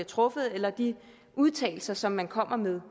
truffet eller de udtalelser som man kommer med